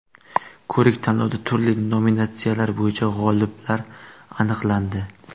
Ko‘rik-tanlovda turli nominatsiyalar bo‘yicha g‘oliblar aniqlandi.